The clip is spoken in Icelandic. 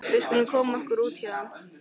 Við skulum koma okkur út héðan.